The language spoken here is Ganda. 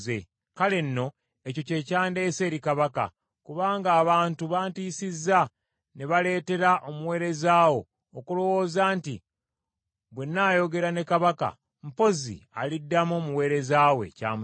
“Kale nno ekyo kye kyandeese eri kabaka, kubanga abantu bantiisizza, ne baleetera omuweereza wo okulowooza nti, ‘Bwe nnaayogera ne kabaka, mpozzi aliddamu omuweereza we ky’amusaba.